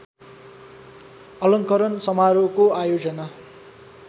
अलङ्करण समारोहको आयोजना